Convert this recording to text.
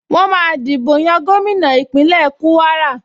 Wọ́n máa dìbò yan gómìnà Ìpínlẹ̀ Kúwárà